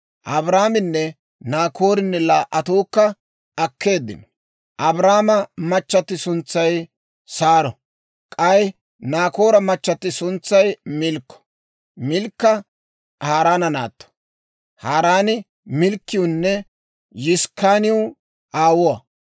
Abraaminne Naakoorinne laa"attuukka akkeeddino; Abraamo machchatti suntsay Saaro; k'ay Naakoora machchatti suntsay Milkko; Milkka Haaraana naatto; Haaraani Milkkiwunne Yiskkaaniw aawuwaa.